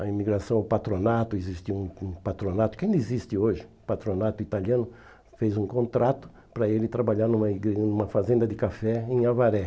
a imigração ao patronato, existe um um patronato, que ainda existe hoje, patronato italiano, fez um contrato para ele trabalhar numa numa fazenda de café em Avaré.